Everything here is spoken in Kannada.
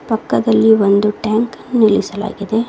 ಪಕ್ಕದಲ್ಲಿ ಒಂದು ಟ್ಯಾಂಕ ನ್ನು ನಿಲ್ಲಿಸಲಾಗಿದೆ.